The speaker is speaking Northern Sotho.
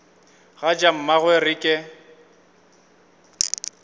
ga ja mmagwe re ke